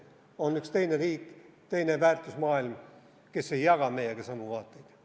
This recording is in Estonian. On üks teine riik, teine väärtusmaailm, mis ei jaga meiega samu vaateid.